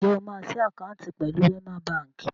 Ṣé o máa ṣí àkáǹtì pẹ̀lú Wẹ́má baǹkì?